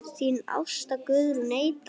Þín Ásta Guðrún Eydal.